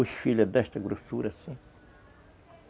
Os filhos é desta grossura, assim.